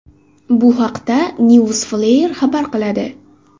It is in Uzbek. Bu haqda Newsflare xabar qiladi .